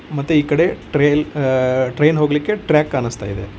ಮತ್ತೆ ಈ ಕಡೆ ಟ್ರೈಲ್ ಅ ಟ್ರೈನ್ ಹೋಗಲಿಕ್ಕೆ ಟ್ರ್ಯಾಕ್ ಕಾಣಿಸ್ತಾ ಇದೆ.